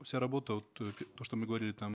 вся работа вот э то что мы говорили там